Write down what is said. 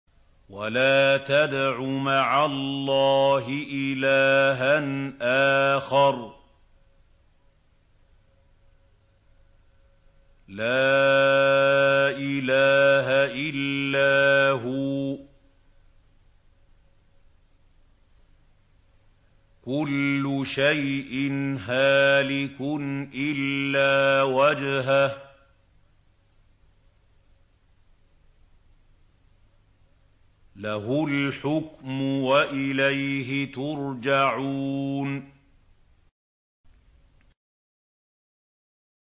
وَلَا تَدْعُ مَعَ اللَّهِ إِلَٰهًا آخَرَ ۘ لَا إِلَٰهَ إِلَّا هُوَ ۚ كُلُّ شَيْءٍ هَالِكٌ إِلَّا وَجْهَهُ ۚ لَهُ الْحُكْمُ وَإِلَيْهِ تُرْجَعُونَ